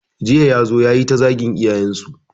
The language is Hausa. Jiya ya zo yayi ta zagin iyayen su